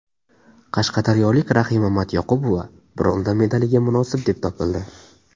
Qashqadaryolik Rahima Matyoqubova bronza medaliga munosib deb topildi.